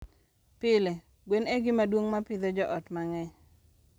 Pile, gwen e gima duong' ma pidho joot mang'eny.